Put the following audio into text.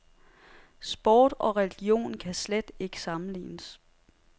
Sport og religion kan slet ikke sammenlignes.